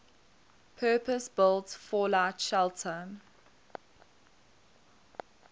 purpose built fallout shelter